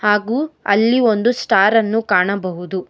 ಹಾಗು ಅಲ್ಲಿ ಒಂದು ಸ್ಟಾರ್ ಅನ್ನು ಕಾಣಬಹುದು.